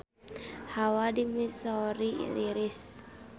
Hawa di Missouri tiris